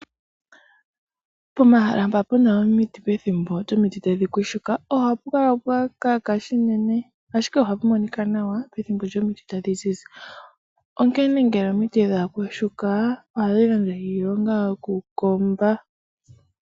Pomahala mpoka pu na omiti pethimbo lyomiti tadhi yagumuka ohapu kala pwa kaka noonkondo, ashike ohapu monika nawa pethimbo lyomiti tadhi zizi, onkene ngele omiti dha yagumuka ohadhi gandja iilonga yokukomba.